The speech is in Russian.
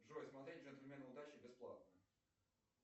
джой смотреть джентльмены удачи бесплатно